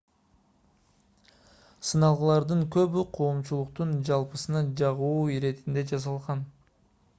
сыналгылардын көбү коомчулуктун жалпысына жагуу иретинде жасалган